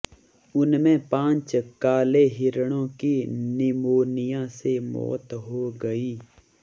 उनमें पांच काले हिरणों की निमोनिया से मौत हो गई